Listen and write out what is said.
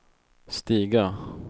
stiga